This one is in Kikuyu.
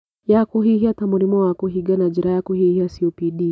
Ya kũhihia ta mũrimũ wa kũhingana njĩra ya kũhihia (copd)